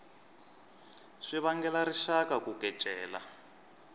swi vangela rixaka ku kecela